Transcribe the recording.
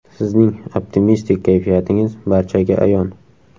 Sizning optimistik kayfiyatingiz barchaga ayon.